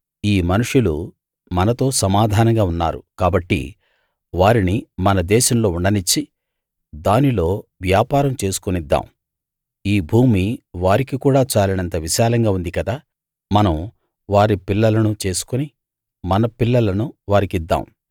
ఈ మనుషులు మనతో సమాధానంగా ఉన్నారు కాబట్టి వారిని మన దేశంలో ఉండనిచ్చి దీనిలో వ్యాపారం చేసుకోనిద్దాం ఈ భూమి వారికి కూడా చాలినంత విశాలంగా ఉంది కదా మనం వారి పిల్లలను చేసుకుని మన పిల్లలను వారికి ఇద్దాం